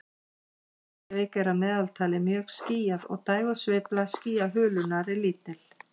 Í Reykjavík er að meðaltali mjög skýjað og dægursveifla skýjahulunnar er lítil.